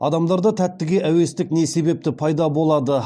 адамдарда тәттіге әуестік не себепті пайда болады